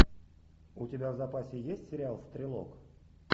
у тебя в запасе есть сериал стрелок